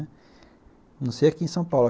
A não sei aqui em São Paulo.